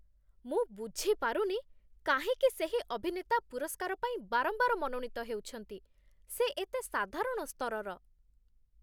ମୁଁ ବୁଝିପାରୁନି କାହିଁକି ସେହି ଅଭିନେତା ପୁରସ୍କାର ପାଇଁ ବାରମ୍ବାର ମନୋନୀତ ହେଉଛନ୍ତି। ସେ ଏତେ ସାଧାରଣ ସ୍ତରର।